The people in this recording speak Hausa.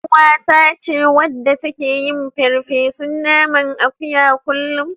Ƴaruwata ce wadda take yin farfesun naman akuyan kullum.